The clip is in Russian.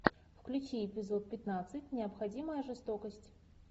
включи эпизод пятнадцать необходимая жестокость